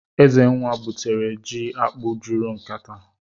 Ezenna gwutere ji akpụ́ juru nkatá (ekete).